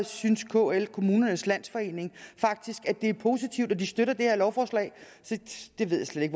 synes kl kommunernes landsforening faktisk at det er positivt og de støtter det her lovforslag så jeg ved slet